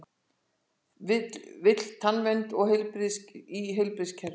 Vill tannvernd í heilbrigðiskerfið